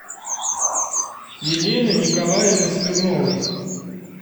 елены николаевны смирновой